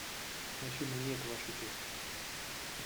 афина нет ваша честь